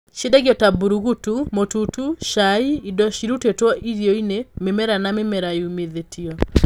Ciendagio ta mbũrũgũtũ, mũtutu, cai, indo cirutĩtwo irio-inĩ, mĩmera na mĩmera yũmithĩtio.